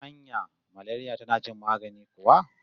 Anya maleriya tana jin magani kuwa?